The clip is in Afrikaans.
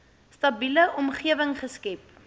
stabiele omgewing geskep